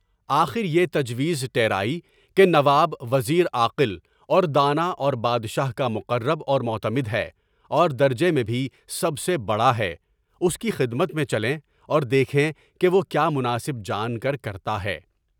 آخریہ تجویز تراے کہ نواب وزیر عاقل اور دانا، اور بادشاہ کا مقرب اور معتمد ہے، اور درجہ میں بھی سب سے بڑا ہے۔ اس کی خدمت میں چلیں اور دیکھیں کہ وہ کیا مناسب جان کر کرتا ہے۔